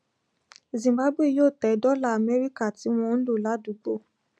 zimbabwe yóò tẹ dola amẹríkà tí wọn ń lò ládùúgbò